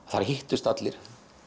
þar hittust allir